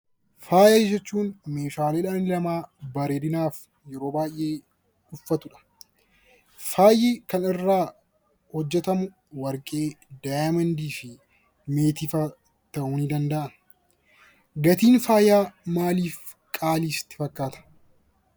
Faaya jechuun meeshaalee dhalli namaa bareedinaaf yeroo baay'ee uffatudha. Faayi kan irraa hojjetamu warqee, diyaamendii fi meetiifaa ta'uu ni danda'a. Gatiin faayaa maaliif qaalii sitti fakkaata?